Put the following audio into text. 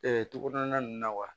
togoya nunnu na wa